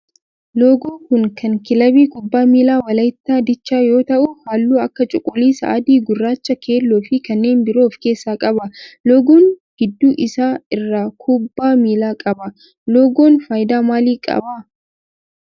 Loogoo kun kan kilaabii kubbaa miilaa walaayittaa diichaa yoo ta'u halluu akka cuquliisa, adii, gurraacha, keelloo fi kanneen biroo of keessaa qaba. loogoon gidduu isaa irraa kubbaa miilaa qaba. loogoon faayidaa maalii qaba?